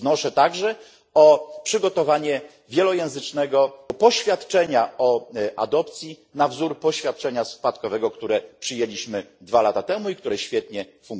Wnoszę także o przygotowanie wielojęzycznego poświadczenia o adopcji na wzór poświadczenia spadkowego, które przyjęliśmy dwa lata temu i które świetnie funkcjonuje.